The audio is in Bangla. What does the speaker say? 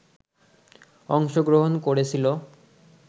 অংশগ্রহণ করেছিল।